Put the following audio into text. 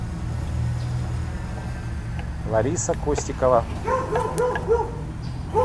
лариса костикова